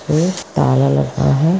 एक ताला लगता है।